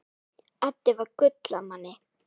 Addi var gull af manni.